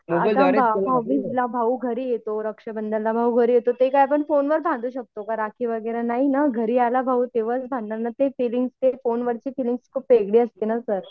भाऊबिजला भाऊ घरी येतो. रक्षाबंधनाला भाऊ घरी येतो ते काय आपण फोनवर बंधू शकतो का राखी वगैरे नाही नं घरी आला भाऊ तेंव्हाच ना बांधणार ते फीलिंग्स ते फोनवरची फिलिंग्ज खूप वेगळी असते ना सर.